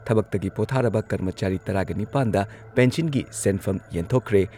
ꯊꯕꯛꯇꯒꯤ ꯄꯣꯊꯥꯔꯕ ꯀꯔꯃꯆꯥꯔꯤ ꯇꯔꯥꯒ ꯅꯤꯄꯥꯟꯗ ꯄꯦꯟꯁꯤꯟꯒꯤ ꯁꯦꯟꯐꯝ ꯌꯦꯟꯊꯣꯛꯈ꯭ꯔꯦ꯫